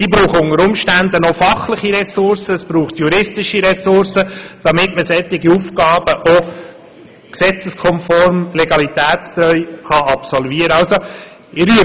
Sie brauchen unter Umständen zusätzliche fachliche Ressourcen, denn es braucht juristische Kompetenz, um solche Aufgaben gesetzeskonform und legalitätstreu erfüllen zu können.